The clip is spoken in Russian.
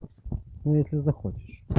ну если захочешь